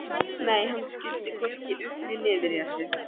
Nei, hann skildi hvorki upp né niður í þessu.